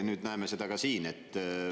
Nüüd näeme seda ka siin.